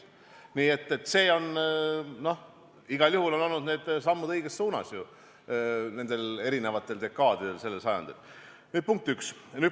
Nii et igal juhul on need olnud sammud õiges suunas eri dekaadidel sellel sajandil, punkt üks.